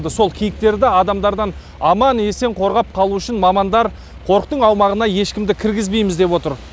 сол киіктерді адамдардан аман есен қорғап қалу үшін мамандар қорықтың аумағына ешкімді кіргізбейміз деп отыр